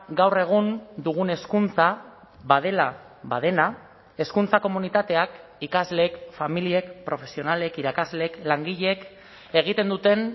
gaur egun dugun hezkuntza badela badena hezkuntza komunitateak ikasleek familiek profesionalek irakasleek langileek egiten duten